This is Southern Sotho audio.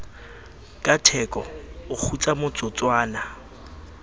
ka theko o kgutsa motsotswana